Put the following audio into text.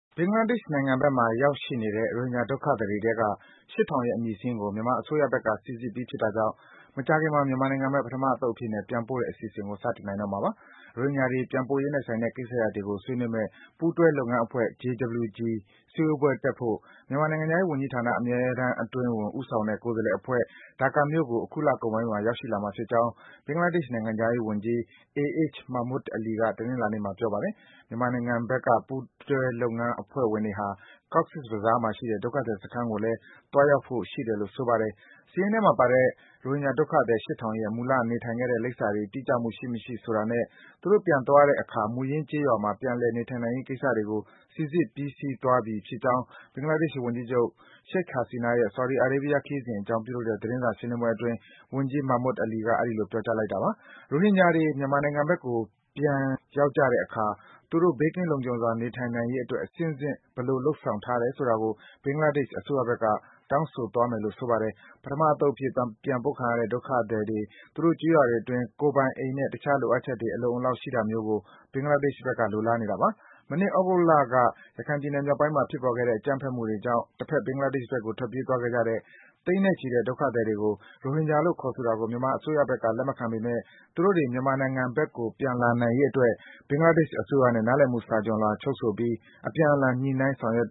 ဘင်္ဂလားဒေ့ရှ်နိုင်ငံဘက်မှာ ရောက်နေတဲ့ ရိုဟင်ဂျာဒုက္ခသည်တွေထဲက ၈,၀၀၀ ရဲ့ အမည်စာရင်းကို မြန်မာ အစိုးရဘက်က စိစစ်ပြီး ဖြစ်တာကြောင့် မကြာခင်မှာ မြန်မာနိုင်ငံဘက် ပထမအသုတ်အဖြစ်နဲ့ ပြန်ပို့တဲ့အစီအစဉ်ကို စတင်နိုင်တော့မှာပါ။ ရိုဟင်ဂျာတွေ ပြန်ပို့ရေးနဲ့ဆိုင်တဲ့ ကိစ္စရပ်တွေကို ဆွေးနွေးမယ့် ပူးတွဲ လုပ်ငန်းအဖွဲ့ (JWG) စည်းဝေးပွဲတက်ဖို့ မြန်မာနိုင်ငံခြားရေးဝန်ကြီးဌာ အမြဲတမ်းအတွင်းဝန် ဦးဆောင်တဲ့ ကိုယ်စားလှယ်အဖွဲ့ ဒါကာမြို့ကို အခုလကုန်ပိုင်းမှာ ရောက်လာမှာဖြစ်ကြောင်း ဘင်္ဂလားဒေ့ရှ် နိုင်ငံခြားရေးဝန်ကြီး AH Mahmood Ali က တနင်္လာနေ့မှာ ပြောပါတယ်။ မြန်မာအစိုးရဘက်က ပူးတွဲ လုပ်ငန်းအဖွဲ့ဝင်တွေဟာ Cox’s Bazar မှာရှိတဲ့ ဒုက္ခသည်စခန်းကိုလည်း သွားရောက်ဖိုရှိတယ်လို့ ဆိုပါတယ်။ စာရင်းထဲမှာပါတဲ့ ရိုဟင်ဂျာဒုက္ခသည် ၈,၀၀၀ ရဲ့ မူလနေထိုင်ခဲ့တဲ့ လိပ်စာတွေ တိကျမှု ရှိမရှိဆိုတာနဲ့ သူတို့ ပြန်သွားတဲ့အခါ မူရင်း ကျေးရွာမှာ ပြန်လည် နေထိုင်နိုင်ရေးကိစ္စတွေကို စိစစ်ပြီးစီးသွားပြီဖြစ်ကြောင်း ဘင်္ဂလာဒေ့ရှ်ဝန်ကြီးချုပ် Sheik Hasina ရဲ့ ဆော်ဒီအာရေးဗီးယား ခရီးစဉ်အကြောင်း ပြုလုပ်တဲ့ သတင်းစာရှင်းလင်းပွဲအတွင်း ဝန်ကြီး Mahmood Ali က အဲဒီလို ပြောကြားလိုက်တာပါ။ ရိုဟင်ဂျာတွေ မြန်မာနိုင်ငံဘက်ကို ပြန်ကြရောက်တဲ့အခါ သူတို့ ဘေးကင်းလုံခြုံစွာ နေထိုင်နိုင်ရေးအတွက် အဆင့်ဆင့် ဘယ်လို လုပ်ဆောင်ထားတယ်ဆိုတာကို ဘင်္ဂလားဒေ့ရှ်ဘက်က တောင်းဆိုသွားမယ်လို့ ဆိုပါတယ်။ ပထမအသုတ်အဖြစ် ပြန်ပို့ခံရတဲ့ ဒုက္ခသည်တွေ သူတို့ကျေးရွာတွေအတွင်းမှာ ကိုယ်ပိုင်အိမ်နဲ့ တခြား လိုအပ်ချက်တွေ အလုံအလောက် ရှိတာမျိုးကို ဘင်္ဂလားဒေ့ရှ်ဘက်က လိုလားနေတာပါ။ မနှစ် သြဂုတ်လက ရခိုင်ပြည်နယ် မြောက်ပိုင်းမှာ ဖြစ်ပေါ်ခဲ့တဲ့ အကြမ်းဖက်မှုတွေကြောင် တဘက် ဘင်္ဂလားဒေ့ရှ်ဘက်ကို ထွက်ပြေးသွားကြတဲ့ သိန်းနဲ့ချီတဲ့ ဒုက္ခသည်တွေကို ရိုဟင်ဂျာလို့ ခေါ်ဆိုတာကို မြန်မာအစိုးရဘက်က လက်မခံပေမယ့် သူတို့တွေ မြန်မာနိုင်ငံဘက်ကို ပြန်လာနိုင်ရေးအတွက် ဘင်္ဂလားဒေ့ရှ်အစိုးရနဲ့ နားလည်မှု စာချွန်လွှာ ချုပ်ဆိုပြီး အပြန်အလှန် ညှိနှိုင်း ဆောင်ရွက်